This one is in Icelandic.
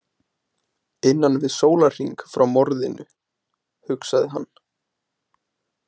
Innan við sólarhring frá morðinu, hugsaði hann.